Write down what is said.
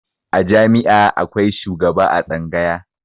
A jami'a akwai shugaba a tsanga